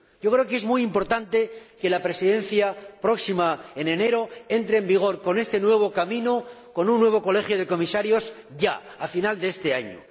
Creo que es muy importante que la próxima Presidencia, en enero, entre en funciones con este nuevo camino —con un nuevo Colegio de Comisarios— ya, a final de este año.